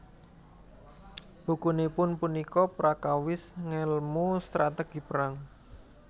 Bukunipun punika prakawis ngèlmu strategi perang